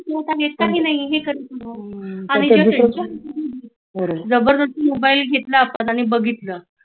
काय करत आहेस? काही नाही, आणि काही नाही जबरदस्ती मोबाइल घेतला आपण आणि बघितल